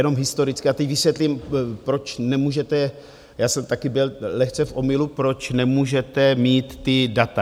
Jenom historicky, a teď vysvětlím, proč nemůžete, já jsem také byl lehce v omylu, proč nemůžete mít ta data.